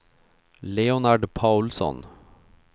Leonard Paulsson